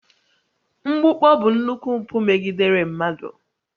Mgbukpọ bụ nnukwu mpụ megidere mmadụ